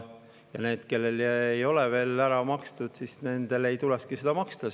Ja nendel, kellel ei ole veel ära makstud, ei tulekski seda maksta.